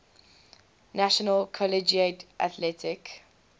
national collegiate athletic